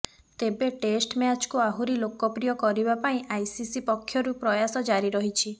ତେବେ ଟେଷ୍ଟ୍ ମ୍ୟାଚ୍କୁ ଆହୁରି ଲୋକପ୍ରିୟ କରିବା ପାଇଁ ଆଇସିସି ପକ୍ଷରୁ ପ୍ରୟାସ ଜାରି ରହିଛି